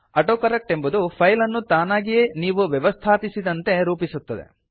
autocorrect ಎಂಬುದು file ಅನ್ನು ತಾನಾಗಿಯೇ ನೀವು ವ್ಯವಸ್ಥಾಪಿಸಿದಂತೆ ರೂಪಿಸುತ್ತದೆ